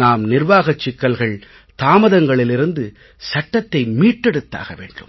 நாம் நிர்வாகச் சிக்கல்கள் தாமதங்களிலிருந்து சட்டத்தை மீட்டெடுத்தாக வேண்டும்